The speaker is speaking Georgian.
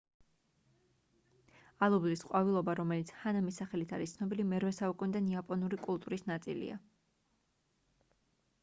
ალუბლის ყვავილობა რომელიც ჰანამის სახელით არის ცნობილი მე-8 საუკუნიდან იაპონური კულტურის ნაწილია